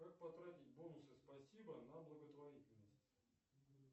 как потратить бонусы спасибо на благотворительность